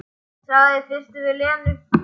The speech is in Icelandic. Sagði það í fyrstu við Lenu.